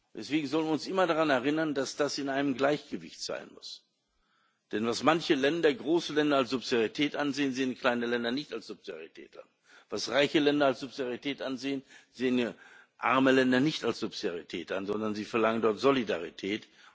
Deswegen sollen wir uns immer daran erinnern, dass das in einem Gleichgewicht sein muss. Denn was manche große Länder als Subsidiarität ansehen, sehen kleine Länder nicht als Subsidiarität an, was reiche Länder als Subsidiarität ansehen, sehen arme Länder nicht als Subsidiarität an, sondern sie verlangen dort Solidarität.